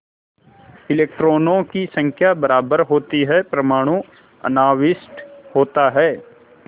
इलेक्ट्रॉनों की संख्या बराबर होती है परमाणु अनाविष्ट होता है